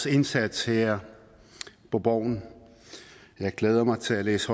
indsats her på borgen jeg glæder mig til at læse